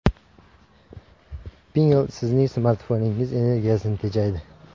Pinngle sizning smartfoningiz energiyasini tejaydi!